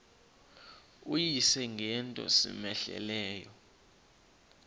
uyise ngento cmehleleyo